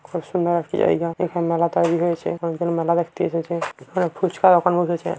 খুব সুন্দর একটি জায়গা। এখানে মেলা তৈরী হয়েছে। অনেক লোক মেলা দেখতে এসেছে। এখানে ফুচকার দোকান বসেছে।